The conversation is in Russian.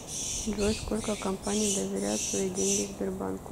джой сколько компаний доверяют свои деньги сбербанку